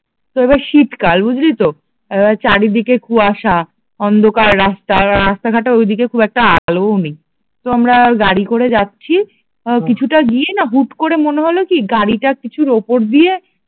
তো এবার শীতকাল বুঝলি তো আহ চারিদিকে কুয়াশা, অন্ধকার রাস্তা আর রাস্তাঘাটে ওদিকের খুব একটা আলোও নেই, তো আমরা গাড়ি করে যাচ্ছি তা কিছুটা গিয়েই না হুট করে মনে হল কি গাড়িটি কিছুর উপর দিয়ে